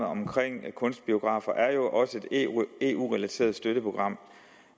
omkring kunstbiografer er jo også et eu relateret støtteprogram